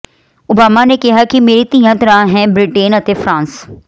Obama ਨੇ ਕਿਹਾ ਕਿ ਮੇਰੀਆਂ ਧੀਆਂ ਤਰ੍ਹਾਂ ਹੈ ਬਿ੍ਰਟੇਨ ਅਤੇ ਫਰਾਂਸ